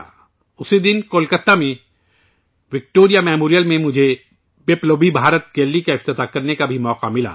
اسی دن مجھے کولکاتہ کے وکٹوریہ میموریل میں پَبلوبی بھارت گیلری کے افتتاح کا بھی موقع ملا